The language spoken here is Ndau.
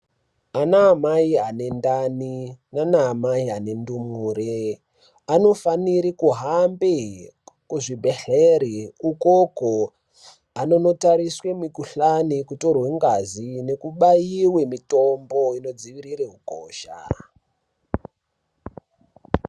Ana amai ane ndani nanamai ane ndumure anofanire kuhambe kuzvibhedhlera ukoko anonotariswe mukuhlani kutorwe ngazi nekubaiwe mitombo inodziwirira ukosha.